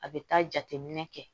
A bɛ taa jateminɛ kɛ